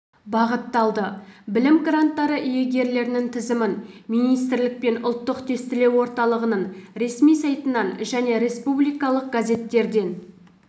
бағытталды білім гранттары иегерлерінің тізімін министрлік пен ұлттық тестілеу орталығының ресми сайтынан және республикалық газеттерден